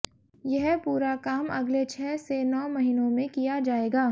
यह पूरा काम अगले छह से नौ महीनों में किया जाएगा